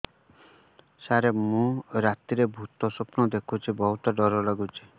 ସାର ମୁ ରାତିରେ ଭୁତ ସ୍ୱପ୍ନ ଦେଖୁଚି ବହୁତ ଡର ଲାଗୁଚି